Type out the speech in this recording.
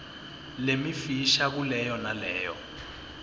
lemifisha kuleyo naleyo